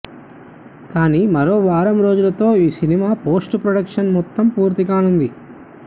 కానీ మరో వారం రోజులతో ఈ సినిమా పోస్ట్ ప్రొడక్షన్ మొత్తం పూర్తి కానుంది